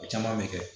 Caman bɛ kɛ